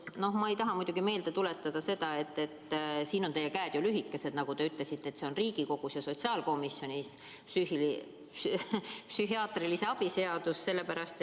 Noh, ma ei tahaks muidugi meelde tuletada seda – siin on teie käed lühikesed, nagu te ütlesite –, et Riigikogu sotsiaalkomisjonis seisab psühhiaatrilise abi seaduse muutmise eelnõu.